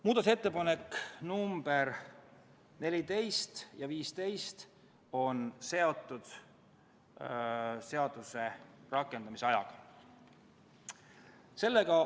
Muudatusettepanekud nr 14 ja 15 on seotud seaduse rakendamise ajaga.